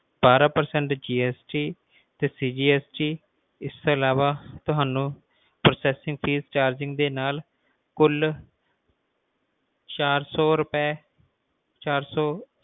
ਬਾਰਾਂ percentgst ਤੇ cgst ਇਸ ਤੋਂ ਅਲਾਵਾ ਤੁਹਾਨੂੰ charges ਦੇ ਨਾਲ ਕੁਲ ਚਾਰ ਸੌ ਰੁਪਏ ਚਾਰ ਸੌ